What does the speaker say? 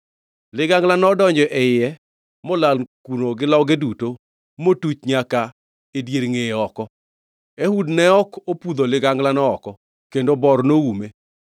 Ligangla nodonjo e iye molal kuno gi loge duto motuch nyaka e dier ngʼeye oko. Ehud ne ok opudho liganglano oko, kendo bor noume.